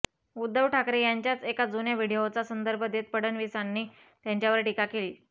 उद्धव ठाकरे यांच्याच एका जुन्या व्हिडिओचा संदर्भ देत फडणवीसांनी त्यांच्यावर टीका केली